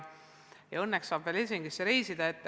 Ja õnneks saab veel Helsingisse reisida.